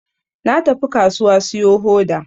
Na tafi kasuwa siyo hoda